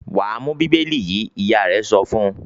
"Wà á mú Bíbélì yìí!" Ìyá rẹ̀ sọ fún un.